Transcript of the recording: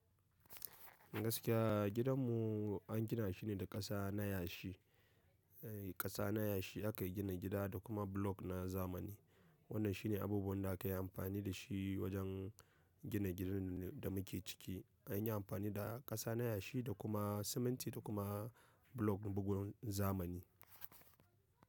Gaskiya gidanmu an gina shi ne da ƙasa na yashi, ƙasa na yashi aka yi gina gida da kuma block na zamani. Wannan shi ne abubuwan da aka yi amfani da shi wajen gina gidan da muke ciki. An yi amfani da ƙasa na yashi da kuma siminti da kuma block bugun zamani.